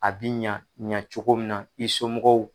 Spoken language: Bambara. A bi ɲa ɲacogo min na i somɔgɔw